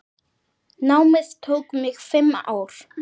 Námið tók mig fimm ár.